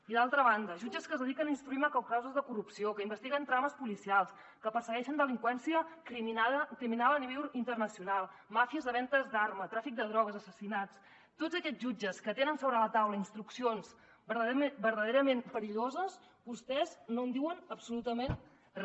i d’altra banda jutges que es dediquen a instruir macrocauses de corrupció que investiguen trames policials que persegueixen delinqüència criminal a nivell inter·nacional màfies de vendes d’armes tràfic de drogues assassinats de tots aquests jutges que tenen sobre la taula instruccions verdaderament perilloses vostès no en diuen absolutament re